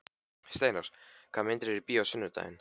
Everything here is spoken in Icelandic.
Steinar, hvaða myndir eru í bíó á sunnudaginn?